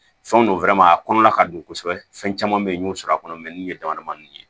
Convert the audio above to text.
Fɛnw don a kɔnɔna ka dun kosɛbɛ fɛn caman be yen n y'o sɔrɔ a kɔnɔ nunnu ye dama damani ye